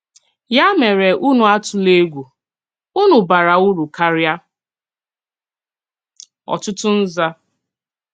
Yà mèrè ùnù àtùlà ègwù: ùnù bàrà ùrù káríà ọ̀tụ̀tụ̀ nzà."